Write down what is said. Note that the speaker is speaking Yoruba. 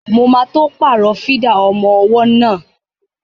Mo ma tó pàrọ̀ fídà ọmọ ọwọ́ náà